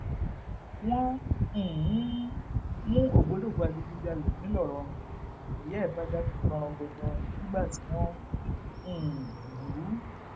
wọn um mú ògbólógbòó adigunjalè ńlọrọrìn nìyá ẹ bá dákú gbọnrangandan nígbà tí wọn ń um lù ú